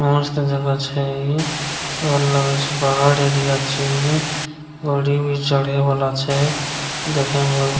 मस्त जगह छै इ और लगे छै पहाड़ एरिया छै इ घोड़ी भी चढ़े वाला छै देखे मे --